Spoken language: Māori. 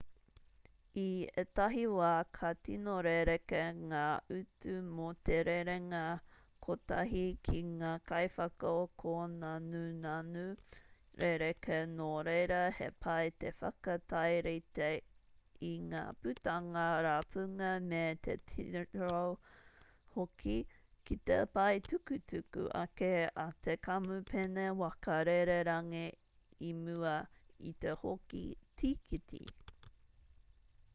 i ētahi wā ka tino rerekē ngā utu mō te rerenga kotahi ki ngā kaiwhakakōnanunanu rerekē nō reira he pai te whakatairite i ngā putanga rapunga me te titiro hoki ki te pae tukutuku ake a te kamupene waka rererangi i mua i te hoko tīkiti